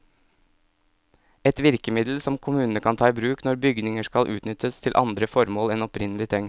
Et virkemiddel som kommunene kan ta i bruk når bygninger skal utnyttes til andre formål enn opprinnelig tenkt.